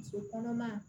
Muso kɔnɔma